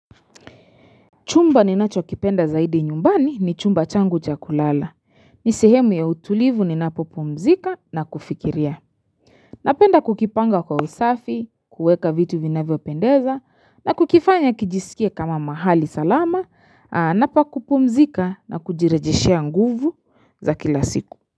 Chumba ninachokipenda zaidi nyumbani ni chumba changu cha kulala. Ni sihemu ya utulivu ni napopumzika na kufikiria. Napenda kukipanga kwa usafi, kueka vitu vinavyopendeza, na kukifanya kijisikie kama mahali salama, na pa kupumzika na kujirejeshia nguvu za kila siku.